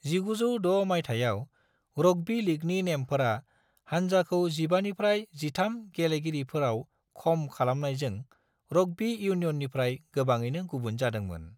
1906 मायथायाव रग्बी लीगनि नेमफोरा हानजाखौ 15 निफ्राय 13 गेलेगिरिफोराव खम खालामनायजों रग्बी यूनियननिफ्राय गोबाङैनो गुबुन जादोंमोन।